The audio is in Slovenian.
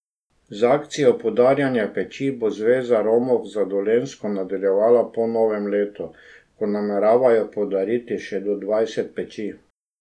Z akcijo podarjanja peči bo Zveza Romov za Dolenjsko nadaljevala po novem letu, ko nameravajo podariti še do dvajset peči.